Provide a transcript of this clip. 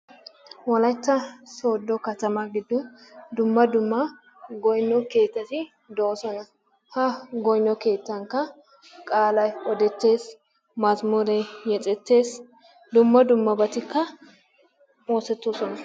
Wolaitta sodo katama gidon dumma dumma goyno keetati doosona. Ha goyno keettanikka qaalay odettees, mazmuree yexettees, dumma dummabatikka oosetoosona.